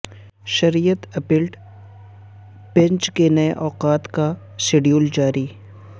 شریعت appellate bench کے نئے اوقات کا شیڈول جاری